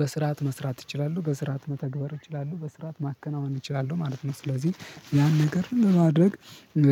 በስርዓት መስራት እችላለሁ በስርዓት መተግበር እችላለሁ በስርዓት ማከናወን እችላለሁ ማለት ነው። ስለዚህ ያን ነገር ለማድረግ